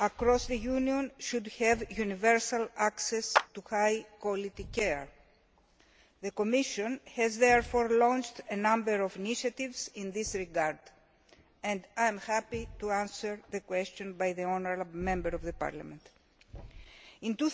across the Union should have universal access to high quality care. The Commission has therefore launched a number of initiatives in this regard and I am happy to answer the question by the honourable Member of Parliament. In